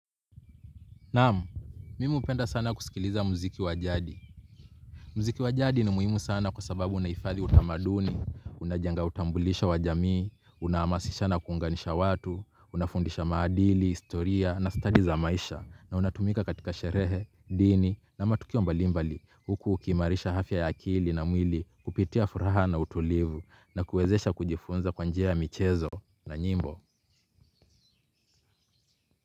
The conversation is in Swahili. Naam, mimi hupenda sana kusikiliza mziki wa jadi. Mziki wa jadi ni muhimu sana kwa sababu unahifadhi utamaduni, unajenga utambulisho wa jamii, unahamasisha na kuunganisha watu, unafundisha maadili, historia na study za maisha na unatumika katika sherehe, dini na matukio mbalimbali huku ukiimarisha afya ya akili na mwili kupitia furaha na utulivu na kuwezesha kujifunza kwa njia ya michezo na nyimbo.